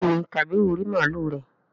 béèni kabiru rí màlúù rẹ.